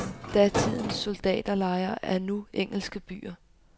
Datidens soldaterlejre er nu engelske byer.